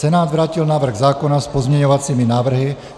Senát vrátil návrh zákona s pozměňovacími návrhy.